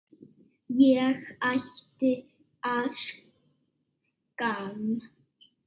Ég ætti að skamm